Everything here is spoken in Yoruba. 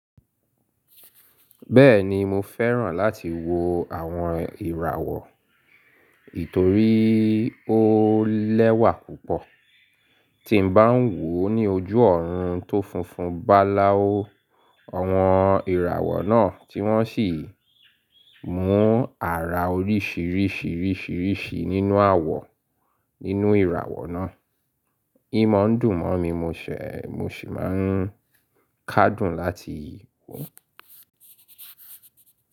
Bẹ́ẹ̀ni mo fẹ́ràn láti wo àwọn ìràwọ̀ nítorí ó lẹ́wà púpọ̀. Tí n bá ń wò ó ní ojú ọ̀run tó funfun bá lá ó, àwọn ìràwọ̀ náà tí wọ́n sì mú àrà oríṣìíríṣìíríṣìíríṣìí nínú àwọ̀ nínú ìràwọ̀ náà. Ímò ń dùn mọ́ mi mọ́ ṣe, mo sì máa kádùn láti wò ó.